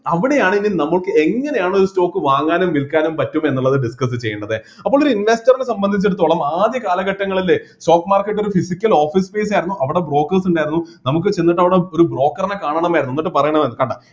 അവിടെയാണ് ഇനി നമ്മക്ക് എങ്ങനെയാണ് stock വാങ്ങാനും വിൽക്കാനും പറ്റുമെന്നുള്ളത് discuss ചെയ്യേണ്ടത് അപ്പോ ഒരു investor റെ സംബന്ധിച്ചിടത്തോളം ആദ്യകാലഘട്ടങ്ങളില് stock market ഒരു pyhsical office space ആയിരുന്നു അവിടെ brokers ഉണ്ടായിരുന്നു നമുക്ക് ചെന്നിട്ട് അവിടെ ഒരു broker നെ കാണണമായിരുന്നു എന്നിട്ട് പറയണമായിരുന്നു കണ്ട